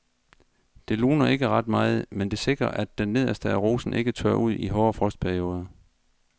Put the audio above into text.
Det luner ikke ret meget, men det sikrer at det nederste af rosen ikke tørrer ud i hårde frostperioder.